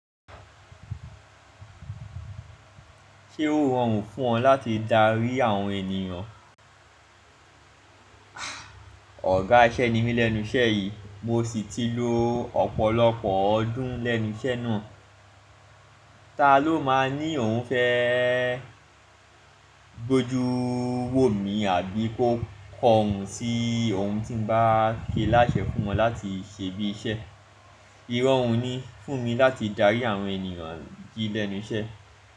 Ṣé ó rọrùn fún ọ láti darí àwọn ènìyàn? Ọ̀gá iṣẹ́ ni mí lẹ́nu iṣẹ́ yìí, mo sì ti lo ọ̀pọ̀lọpọ̀ ọdún lẹ́nu iṣẹ́ náà. Ta ló máa ní òun fẹ́ gbójú wò mi àbí kó kọ ọ̀un sí ohun tí ń bá ké láṣẹ fún wọn láti ṣe bí iṣẹ́. Ìrọ̀rùn ni fún mi láti darí àwọn ènìyàn jí lẹ́nu iṣẹ́.